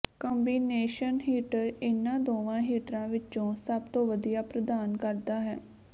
combination heater ਇਨ੍ਹਾਂ ਦੋਵਾਂ ਹੀਟਰਾਂ ਵਿੱਚੋਂ ਸਭ ਤੋਂ ਵਧੀਆ ਪ੍ਰਦਾਨ ਕਰਦਾ ਹੈ